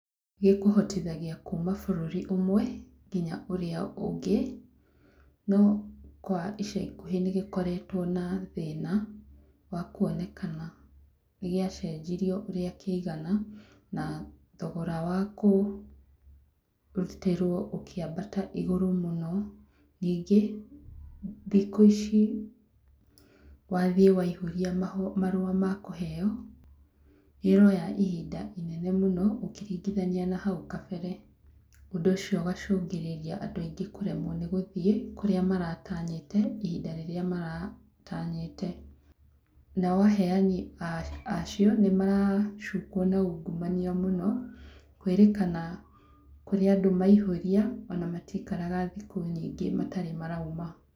Gĩkũhotithagia kuma bũrũri ũmwe nginya ũrĩa ũngĩ, no kwa ica ikuhĩ nĩ gĩkoretwo na thina wa kuonekana nĩ gĩacenjirio ũrĩa kĩigana na thogora wa kũrutĩrwo ũkĩambata igũrũ mũno, ningĩ thikũ ici, wathiĩ waihũria marũa ma kũheo, nĩ ũroya ihinda inene mũno ũkĩringithania na hau kabere, ũndũ ũcio ũgacũngĩrĩria andũ aingĩ kũremwo nĩ gũthiĩ kũrĩa maratanyĩte, ihinda rĩrĩa maratanyĩte, nao aheani acio, nĩ maracukwo na ungumania mũno, kwĩrĩkana kũrĩ andũ maihũria, ona matiikaraga thikũ nyingĩ matarĩ marauma